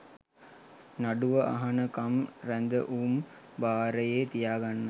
නඩුව අහනකම් රැදවුම් භාරයේ තියාගන්න